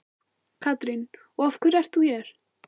Katrín: Og af hverju ert þú hér?